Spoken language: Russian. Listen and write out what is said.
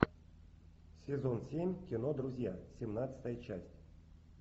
сезон семь кино друзья семнадцатая часть